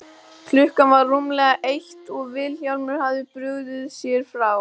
Klukkan var rúmlega eitt og Vilhjálmur hafði brugðið sér frá.